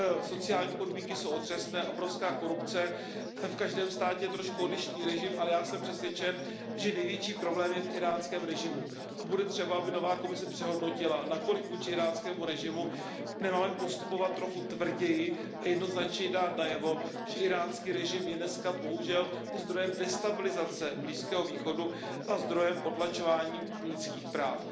sociální podmínky jsou otřesné, obrovská korupce, v každém státě trochu odlišný režim, ale já jsem přesvědčen, že největší problém je v íránském režimu. Bude třeba, aby nová Komise přehodnotila, zda vůči íránskému režimu nemáme postupovat trochu tvrději a zda nemáme dát jednoznačně najevo, že íránský režim je dnes bohužel zdrojem destabilizace Blízkého východu a zdrojem potlačování lidských práv.